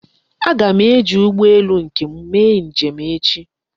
Aga m eji ụgbọelu nke m mee njem echi.